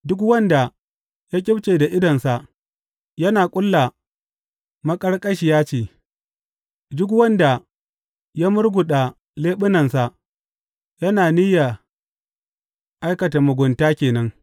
Duk wanda ya ƙyifce da idonsa yana ƙulla maƙarƙashiya ce; duk wanda ya murguɗa leɓunansa yana niyya aikata mugunta ke nan.